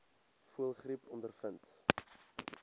voëlgriep ondervind